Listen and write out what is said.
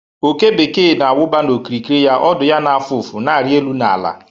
Oke bekee na-awụba n’okirikiri ya, ọdụ ya na-afụ ụfụ na-arị elu na ala.